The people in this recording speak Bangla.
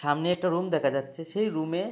সামনে একটা রুম দেখা যাচ্ছে সেই রুম এ--